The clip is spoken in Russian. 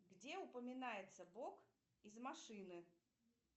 где упоминается бог из машины